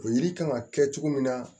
O yiri kan ka kɛ cogo min na